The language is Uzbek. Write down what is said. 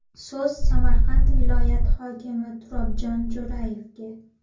So‘z Samarqand viloyati hokimi Turobjon Jo‘rayevga.